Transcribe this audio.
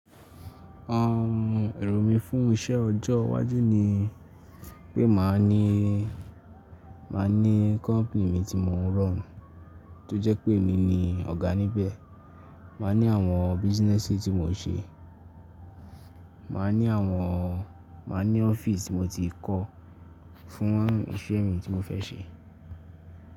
Erò mí fún iṣẹ ọjọ́ iwájú ni pé màá ní, màá ní company mi tí mò ń run tó jẹ́ pé mi ni ọ̀gá níbẹ̀. Màá ní àwọn businesses tí mò ń ṣe. Màá ní àwọn, màá ní office tí mo ti kọ́ fún iṣẹ́ mi tí mo fẹ́ ṣe.